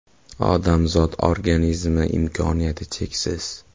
“Odamzod organizmi imkoniyati cheksiz.